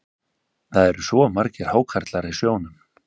Það eru svo margir hákarlar í sjónum.